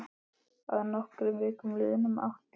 Að nokkrum vikum liðnum átti